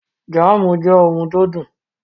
Jámùù jê ohun tó dùn.